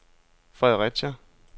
Fredericia